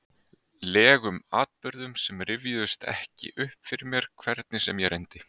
legum atburðum sem rifjuðust ekki upp fyrir mér, hvernig sem ég reyndi?